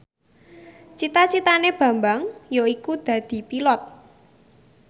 cita citane Bambang yaiku dadi Pilot